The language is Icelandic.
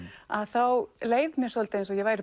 þá leið mér svolítið eins og ég væri